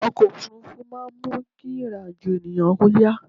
ọkọ̀ òfurufú máà ń mú kí ìrìn àjọ̀ ènìyàn yá